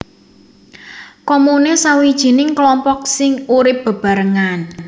Komune sawijining klompok sing urip bebarengan